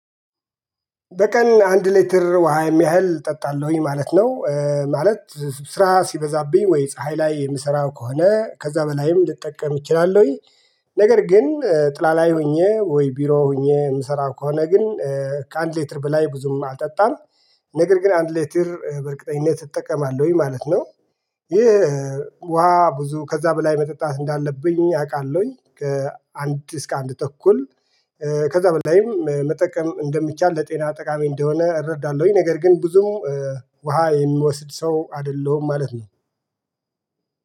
በቀን አንድ ሊትር ውሃ የሚያህል እጠጣለሁኝ ማለት ነው። ማለት ስራ ሲበዛብኝ ወይ ፀሀይ ላይ የምሰራው ከሆነ ከዛ በላይም ልጠቀም እችላለሁኝ። ነገር ግን ጥላ ላይ ሆኜ ወይ ቢሮ ሆኜ የምሰራው ከሆነ ግን ከአንድ ሌትር በላይ ብዙም አልጠጣም። ነገር ግን አንድ ሊትር በእርግጠኝነት እጠቀማለሁኝ ማለት ነው። ይሄ ውሃ ብዙ ከዛ በላይ መጠጣት እንዳለብኝ አውቃለሁኝ ከአንድ እስከ አንድ ተኩል። ከዛ በላይም መጠቀም እንደሚቻል ለጤና ጠቃሚ እንደሆነ እረዳለሁኝ። ነገር ግን ብዙም ውሃ የምወስድ ሰው አይደለሁም ማለት ነው